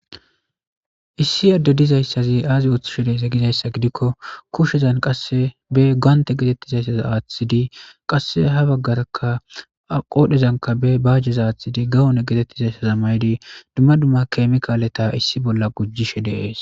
Issi adde dizayssazi aazi ooththishe deeza gizayssa gidikko kushezan qasse be gaante getettizayssaza aaththidi qasse ha baggarakka qodhezanka be bajjeza aaththidi gawone getettizayssaza maydi dumma dumma keemikaaleta issi bolla gujjishe dees.